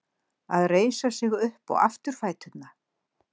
Að reisa sig upp á afturfæturna